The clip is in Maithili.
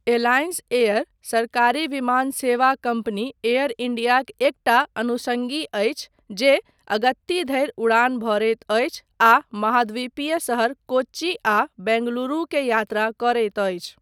एलायंस एयर, सरकारी विमान सेवा कम्पनी एयर इंडियाक एकटा अनुषंगी अछि जे अगत्ती धरि उड़ान भरैत अछि आ महाद्वीपीय शहर कोच्चि आ बेंगलुरु के यात्रा करैत अछि।